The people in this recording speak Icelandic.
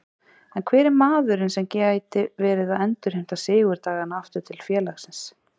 En hver er maðurinn sem gæti verið að endurheimta sigurdagana aftur til félagsins?